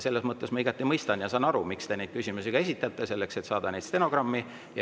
Selles mõttes ma igati mõistan, miks te neid küsimusi esitate: selleks et saada neid stenogrammi.